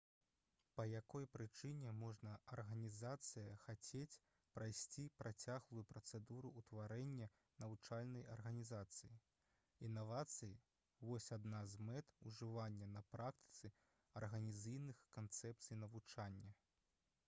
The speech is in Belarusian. па якой прычыне можа арганізацыя хацець прайсці працяглую працэдуру ўтварэння навучальнай арганізацыі інавацыі вось адна з мэт ужывання на практыцы арганізацыйных канцэпцый навучання